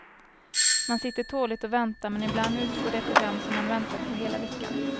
Man sitter tåligt och väntar men ibland utgår det program som man väntat på hela veckan.